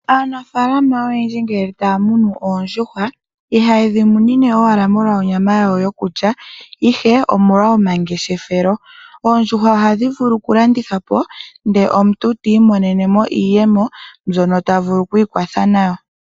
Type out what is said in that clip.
Aanafaalama oyendji ngele taya munu oondjuhwa. Ihayedhi munine owala molwa onyama yadho yokulya ihe omolwa komangeshefelo. Oondjuhwa ohadhi vulu oku landithwa ndele omuntu ti imonene mo iiyemo mbyono tavulu oku ikwatha nayo.